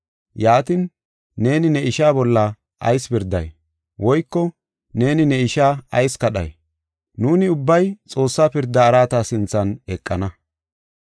Yaatin, neeni ne ishaa bolla ayis pirday? Woyko neeni ne ishaa ayis kadhay? Nuuni ubbay Xoossaa pirda araata sinthan eqana.